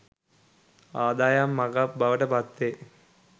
ආදායම් මඟක්‌ බවට පත්වේ.